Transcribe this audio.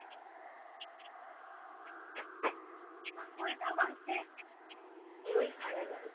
ওই থানেদার